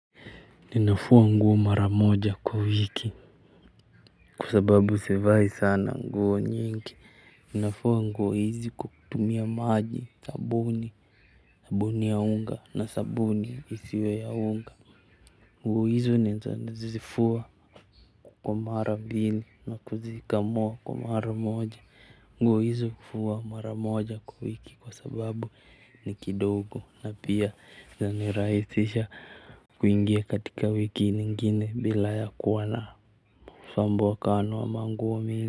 Ninafua nguo mara moja kwa wiki kwa sababu sivai sana nguo nyingi. Ninafua nguo hizi kutumia maji sabuni. Sabuni ya unga na sabuni isiwe ya unga. Nguo hizi nazifua kwa mara mbili na kuzikamua kwa mara moja. Nguo hizi hufua mara moja kwa wiki kwa sababu ni kidogo na pia zinanirahisisha. Kuingia katika wiki nyingine bila ya kuwa na usumbukano wa manguo nyingi.